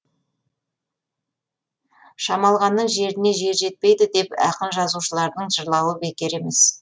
шамалғанның жеріне жер жетпейді деп ақын жазушылардың жырлауы бекер емес